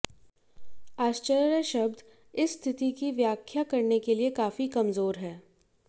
आश्चर्य शब्द इस स्थिति की व्याख्या करने के लिए काफी कमजोर हैं